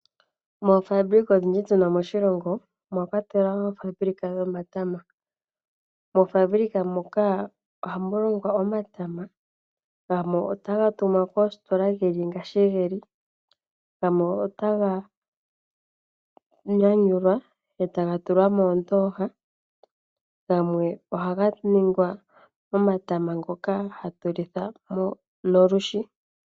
Moofabulika odhindji tuna moshilongo, omwa kwatelwa woo ofaabulika yomatama. Moofaabulika muka oh mu longwa omatama, gamwe ota ga tumwa koositola geli ngashi geli, gamwe ota ga nyanyulwa eta ga tula moondooha omanga gamwe oha ga ningwa omatama ngoka ha ga lithwa nolwishi.